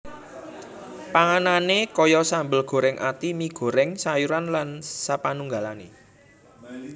Panganane kaya sambel goreng ati mi goreng sayuran lan sapanunggalane